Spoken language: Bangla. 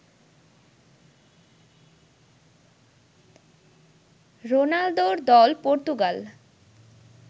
রোনালদোর দল পর্তুগাল